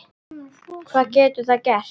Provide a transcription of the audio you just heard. Hvað getur það gert?